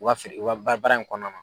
U ga feere u ga ba baara in kɔnɔna na